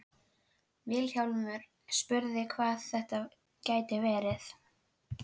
Vilhjálmur spurði hvað þetta gæti verið.